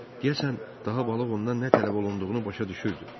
Deyəsən daha balıq ondan nə tələb olunduğunu başa düşürdü.